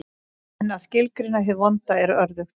En að skilgreina hið vonda er örðugt.